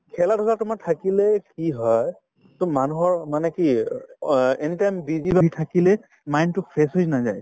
খেলা-ধূলা তোমাৰ থাকিলে কি হয় to মানুহৰ মানে কি অ anytime busy থাকিলে mine তো fresh হৈ নাযায়